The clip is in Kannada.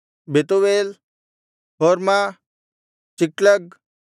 ಬೆತೂವೇಲ್ ಹೊರ್ಮ ಚಿಕ್ಲಗ್